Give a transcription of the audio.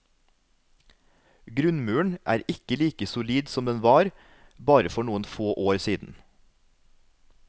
Grunnmuren er ikke like solid som den var bare for noen få år siden.